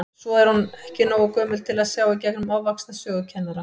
Svo er hún ekki nógu gömul til að sjá í gegnum ofvaxna sögukennara.